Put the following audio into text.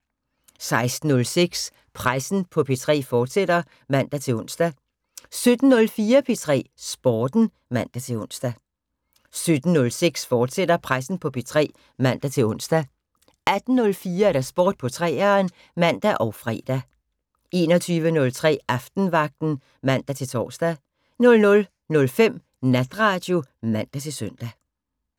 16:06: Pressen på P3, fortsat (man-ons) 17:04: P3 Sporten (man-ons) 17:06: Pressen på P3, fortsat (man-ons) 18:04: Sport på 3'eren (man og fre) 21:03: Aftenvagten (man-tor) 00:05: Natradio (man-søn)